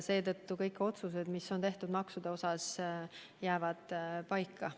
Seetõttu kõik otsused, mis on maksude kohta tehtud, jäävad paika.